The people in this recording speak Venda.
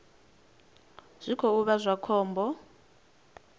zwi khou vha zwa khombo